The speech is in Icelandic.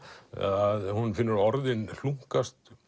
að hún finnur orðin hlunkast